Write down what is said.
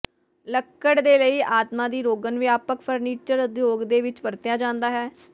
ਲੱਕੜ ਦੇ ਲਈ ਆਤਮਾ ਦੀ ਰੋਗਨ ਵਿਆਪਕ ਫਰਨੀਚਰ ਉਦਯੋਗ ਦੇ ਵਿੱਚ ਵਰਤਿਆ ਜਾਦਾ ਹੈ